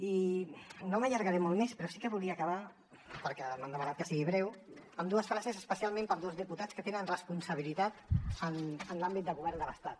i no m’allargaré molt més però sí que volia acabar perquè m’han demanat que sigui breu amb dues frases especialment per a dos diputats que tenen responsabilitat en l’àmbit de govern de l’estat